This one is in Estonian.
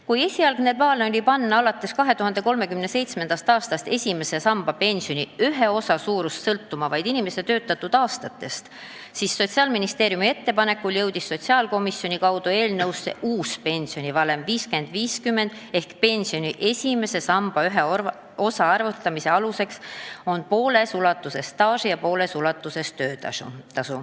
Kui esialgne plaan oli panna alates 2037. aastast esimese samba pensioni ühe osa suurus sõltuma vaid inimese töötatud aastatest, siis Sotsiaalministeeriumi ettepanekul jõudis sotsiaalkomisjoni kaudu eelnõusse uus pensionivalem 50 : 50 ehk pensioni esimese samba ühe osa arvutamise aluseks on pooles ulatuses staaž ja pooles ulatuses töötasu.